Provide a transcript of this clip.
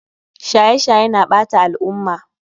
Shaye shaye na ɓata al'umma